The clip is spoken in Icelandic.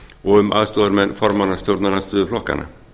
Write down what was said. og um aðstoðarmenn formanna stjórnarandstöðuflokkanna